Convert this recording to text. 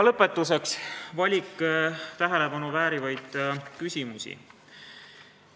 Lõpetuseks valik tähelepanu väärivaid küsimusi.